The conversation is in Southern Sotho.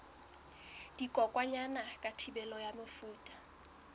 dikokwanyana ka thibelo ya mefuta